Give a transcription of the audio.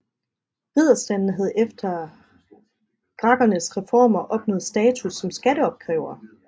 Ridderstanden havde efter Gracchernes reformer opnået status som skatteopkrævere